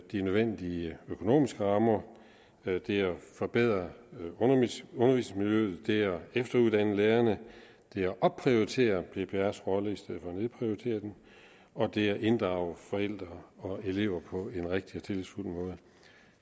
de nødvendige økonomiske rammer det er at forbedre undervisningsmiljøet det er at efteruddanne lærerne det er at opprioritere pprs rolle i stedet for at nedprioritere den og det er at inddrage forældre og elever på en rigtig og tillidsfuld måde